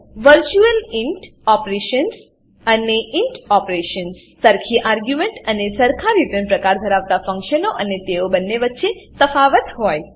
virtual int operations અને int operations સરખી argument અને સરખા રીટર્ન પ્રકાર ધરાવતા ફંક્શનો અને તેઓ બંને વચ્ચે તફાવત હોય